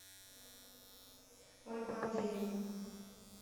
ольгу андреевну